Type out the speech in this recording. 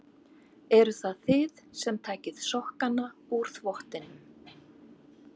Eruð það þið sem takið sokkana úr þvottinum?